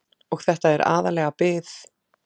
Og þetta er aðallega bið.